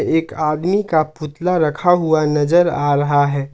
एक आदमी का पुतला रखा हुआ नजर आ रहा है।